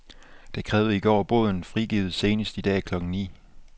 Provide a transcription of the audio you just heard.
De krævede i går båden frigivet senest i dag klokken ni.